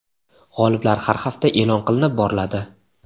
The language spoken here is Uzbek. G‘oliblar har hafta e’lon qilinib boriladi.